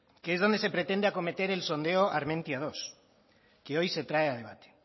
que es donde se pretende acometer el sondeo armentiamenos dos que hoy se trae a debate